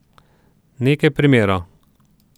Nekaj primerov.